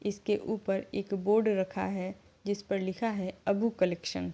इसके उपर एक बोर्ड रखा है जिस पर लिखा है अभू कलेक्सन --